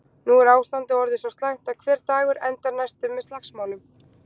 Nú er ástandið orðið svo slæmt að hver dagur endar næstum með slagsmálum.